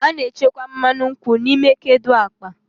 A na-echekwa mmanụ nkwụ n'ime kedu akpa.